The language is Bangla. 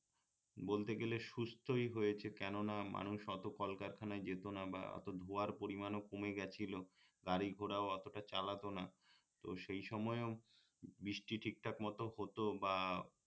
বলতে গেলে সুস্থ্যই হয়েছে কেননা মানুষ অত কলকারখানায় যেত না বা অত ধোয়ার পরিমাণও কমে গেছিলো গাড়ি ঘোড়াও অতটা চালাতো না তো সেই সময়েও বৃষ্টি ঠিকঠাক মত হতো বা